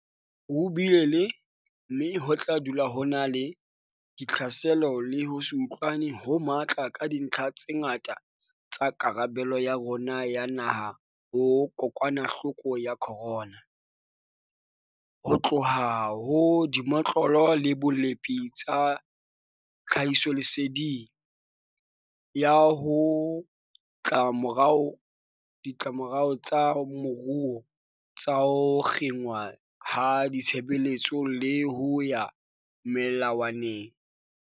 Ho bile le, mme ho tla dula ho na le, ditlhaselo le ho se utlwane ho matla ka dintlha tse ngata tsa karabelo ya rona ya naha ho kokwanahloko ya corona, ho tloha ho dimotlolo le bolepi tsa tlhahisoleseding, ho ya ho ditlamorao tsa moruo tsa ho kginwa ha ditshebeletso le ho ya melawaneng.